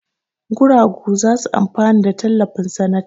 Guragu za su amfana da tallafin sanata.